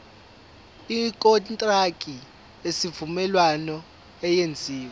ikontraki yesivumelwano eyenziwe